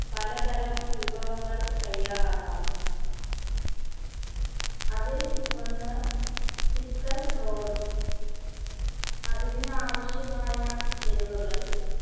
പലതരം വിഭവങ്ങൾ തയ്യാറാക്കാം അതിൽ ഒന്ന് chicken roll അതിന് ആവശ്യമായ ചേരുവകൾ